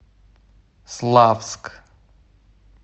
славск